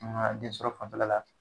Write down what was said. An ga den sɔrɔ fanfɛla la